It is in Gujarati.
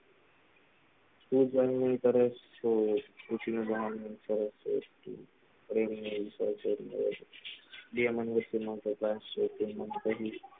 તું પણ એવું કરે છ, તો પૂછીને દિયામન બુદ્ધિમાન પાર કરશે